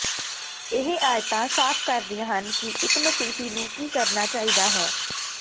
ਇਹ ਆਇਤਾਂ ਸਾਫ਼ ਕਰਦੀਆਂ ਹਨ ਕਿ ਇਕ ਮਸੀਹੀ ਨੂੰ ਕੀ ਕਰਨਾ ਚਾਹੀਦਾ ਹੈ